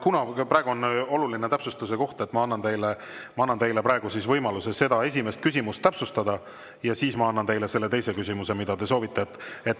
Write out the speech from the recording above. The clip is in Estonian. Kuna praegu on oluline täpsustuse koht, siis ma annan teile võimaluse seda esimest küsimust täpsustada ja seejärel ma annan teile selle teise küsimuse, mida te soovite.